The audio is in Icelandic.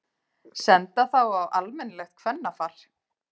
Senda þá á almennilegt kvennafar.